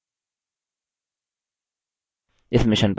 इस mission पर अधिक जानकारी निम्न लिंक पर उपलब्ध है